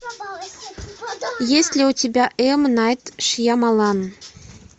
есть ли у тебя м найт шьямалан